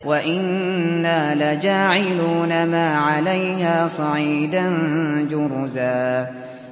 وَإِنَّا لَجَاعِلُونَ مَا عَلَيْهَا صَعِيدًا جُرُزًا